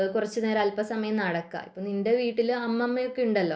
കുറച്ചു നേരം അൽപ സമയം നടക്കുക നിന്റെ വീട്ടിൽ അമ്മമ്മ ഒക്കെയുണ്ടല്ലോ